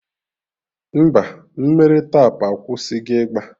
Mba, mmiri Tap akwụsịgo ịgba